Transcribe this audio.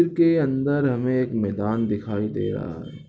चित्र के अंदर हमें एक मैदान दिखाई दे रहा है ।